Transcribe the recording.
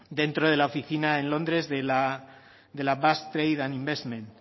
dentro de la oficina en londres de la basque trade investment